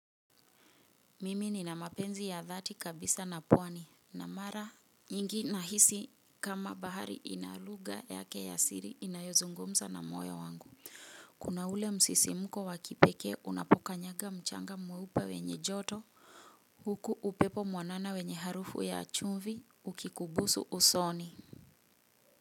Mimi nina mapenzi ya dhati kabisa na pwani na mara nyingi nahisi kama bahari ina lugha yake ya siri inayozungumza na moyo wangu. Kuna ule msisimko wa kipekee unapoka kanyaga mchanga mweupe wenye joto. Huku upepo mwanana wenye harufu ya chumvi ukikubusu usoni.